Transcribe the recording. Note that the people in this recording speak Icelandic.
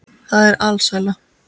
Það er alsæla.